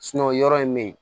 yɔrɔ in bɛ yen